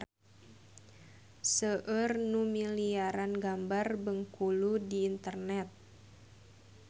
Seueur nu milarian gambar Bengkulu di internet